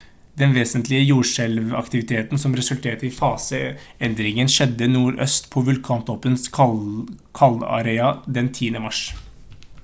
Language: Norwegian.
den vesentlige jordskjelvaktiviteten som resulterte i fase-endringen skjedde nordøst på vulkantoppens kaldera den 10. mars